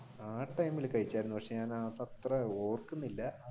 ടൈമിൽ കഴിച്ചാർന്നു പക്ഷെ ഞാൻ അതത്ര ഓർക്കുന്നില്ല.